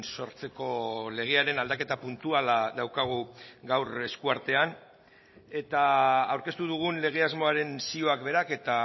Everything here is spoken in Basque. sortzeko legearen aldaketa puntuala daukagu gaur eskuartean eta aurkeztu dugun lege asmoaren zioak berak eta